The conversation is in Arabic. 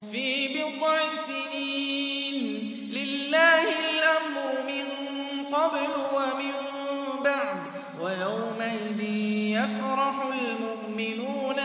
فِي بِضْعِ سِنِينَ ۗ لِلَّهِ الْأَمْرُ مِن قَبْلُ وَمِن بَعْدُ ۚ وَيَوْمَئِذٍ يَفْرَحُ الْمُؤْمِنُونَ